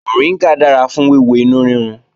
Mọ̀ríngà dára fún wíwo inú rírun